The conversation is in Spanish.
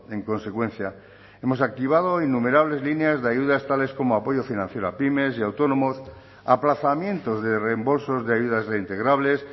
en consecuencia hemos activado innumerables líneas de ayudas tales como apoyo financiero a pymes y autónomos aplazamientos de reembolsos de ayudas reintegrables